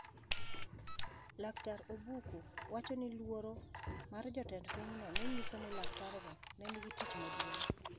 Laktar Obuku wacho ni luoro mar jatend pinyno ne nyiso ni laktargo ne nigi tich maduong’.